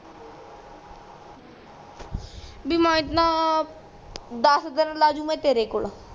ਭੀ ਮੈਂ ਇਤਨਾਂ ਦਸ ਦਿਨ ਲਾ ਜੁ ਮੈਂ ਤੇਰੇ ਕੋਲ